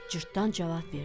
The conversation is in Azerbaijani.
Cırtdan cavab verdi: